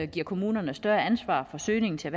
giver kommunerne større ansvar for søgningen til